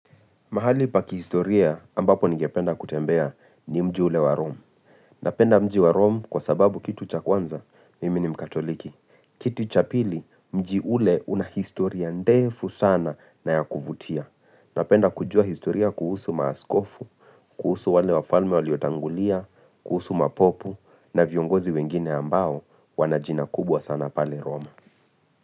Mahali paki historia ambapo nigependa kutembea ni mji ule wa Rom. Napenda mji wa Rom kwa sababu kitu cha kwanza nimi ni mkatoliki. Kitu cha pili mji ule una historia ndefu sana na yakuvutia. Napenda kujua historia kuhusu maaskofu, kuhusu wale wafalme waliotangulia, kuhusu mapopu na viongozi wengine ambao wanajina kubwa sana pale Rom.